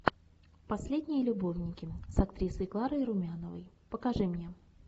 последние любовники с актрисой кларой румяновой покажи мне